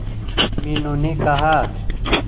मीनू ने कहा